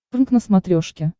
прнк на смотрешке